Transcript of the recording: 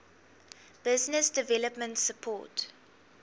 business development support